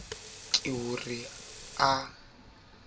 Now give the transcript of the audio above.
ke ho re a behellwe